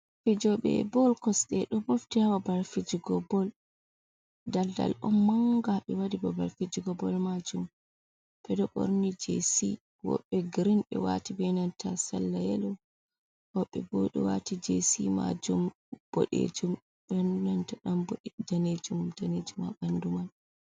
"Fijobe bol kosɗe "do mofti ha babal fijigo bol daldal on manga ɓe waɗi babal fijigo bol majum ɓeɗo ɗo ɓorni jesi wobbe grin ɓe wati benanta salla yelo woɓɓe ɓo ɗo wati jesi majum bodejum benanta danejum danejum ha ɓandu man.